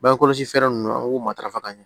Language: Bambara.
Bange kɔlɔsi fɛɛrɛ ninnu an k'u matarafa ka ɲɛ